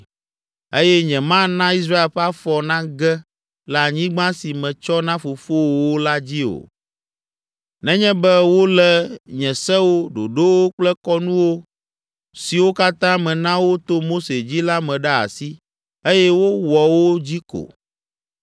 Eye nyemana Israel ƒe afɔ nage le anyigba si metsɔ na fofowòwo la dzi o, nenye be wolé nye sewo, ɖoɖowo kple kɔnuwo siwo katã mena wo to Mose dzi la me ɖe asi, eye wowɔ wo dzi ko.”